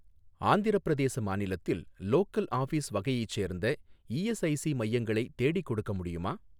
ஆந்திரப்பிரதேச மாநிலத்தில் local office வகையைச் சேர்ந்த இஎஸ்ஐசி மையங்களை தேடிக் கொடுக்க முடியுமா